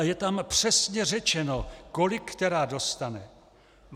A je tam přesně řečeno, kolik která dostane.